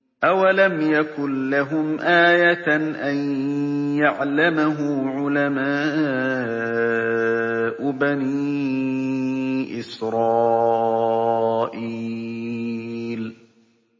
أَوَلَمْ يَكُن لَّهُمْ آيَةً أَن يَعْلَمَهُ عُلَمَاءُ بَنِي إِسْرَائِيلَ